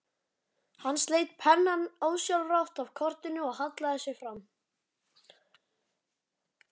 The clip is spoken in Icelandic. Hann sleit pennann ósjálfrátt af kortinu og hallaði sér fram.